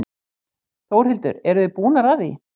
Þórhildur: Eruð þið búnar að því?